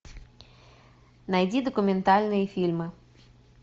найди документальные фильмы